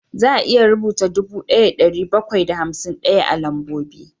Za a iya rubuta dubu ɗaya da ɗari bakwai da hamsin ɗaya a lambobi